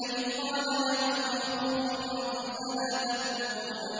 إِذْ قَالَ لَهُمْ أَخُوهُمْ نُوحٌ أَلَا تَتَّقُونَ